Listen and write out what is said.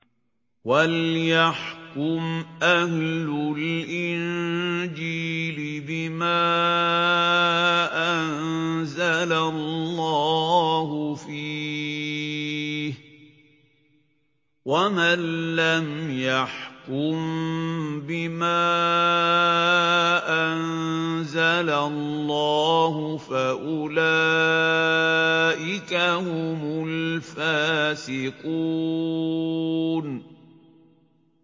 وَلْيَحْكُمْ أَهْلُ الْإِنجِيلِ بِمَا أَنزَلَ اللَّهُ فِيهِ ۚ وَمَن لَّمْ يَحْكُم بِمَا أَنزَلَ اللَّهُ فَأُولَٰئِكَ هُمُ الْفَاسِقُونَ